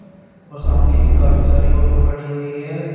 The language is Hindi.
और सामने काफी सारी ऑटो खड़ी हुई है।